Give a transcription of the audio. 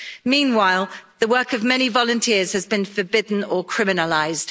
Meanwhile, the work of many volunteers has been forbidden or criminalised.